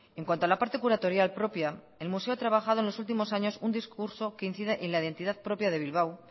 en cuanto a la parte curatorial propia el museo ha trabajado en los últimos años un discurso que incide en la identidad propia de bilbao